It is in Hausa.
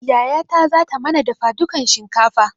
Yayata zata mana dafa dukan shinkafa